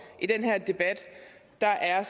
i den her debat der er